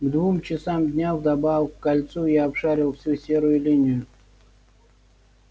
к двум часам дня вдобавок к кольцу я обшарил всю серую линию